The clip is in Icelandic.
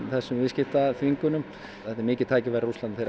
þessum viðskiptaþvingunum þetta er mikið tækifæri í Rússlandi þeir